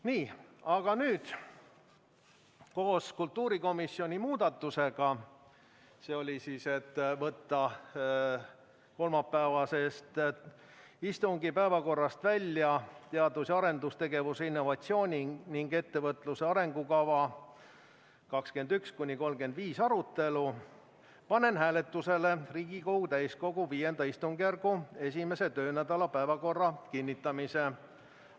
Nii, aga nüüd, koos kultuurikomisjoni muudatusega ehk ettepanekuga võtta kolmapäevase istungi päevakorrast välja "Eesti teadus- ja arendustegevuse, innovatsiooni ning ettevõtluse arengukava 2021–2035" arutelu panen hääletusele Riigikogu täiskogu V istungjärgu esimese töönädala päevakorra kinnitamise.